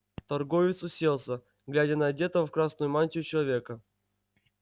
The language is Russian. торговец уселся глядя на одетого в красную мантию человека